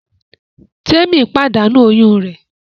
Témì pàdánù oyún rẹ̀